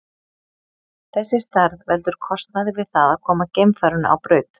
Þessi stærð veldur kostnaði við það að koma geimfarinu á braut.